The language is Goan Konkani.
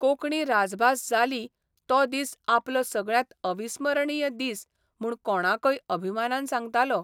कोंकणी राजभास जाली तो दीस आपलो सगळ्यांत अविस्मरणीय दीस म्हूण कोणाकय अभिमानान सांगतालो.